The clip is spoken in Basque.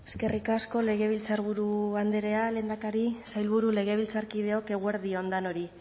eskerrik asko legebiltzarburu andrea lehendakari sailburu legebiltzarkideok eguerdi on danori